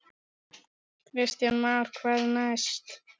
Kristján Már: Hvað næst?